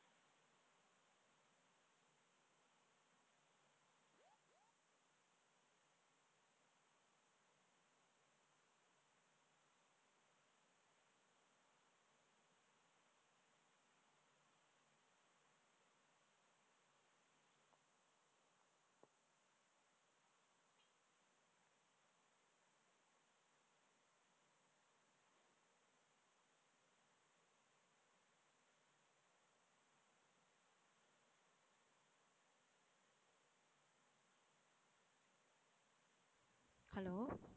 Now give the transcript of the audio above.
hello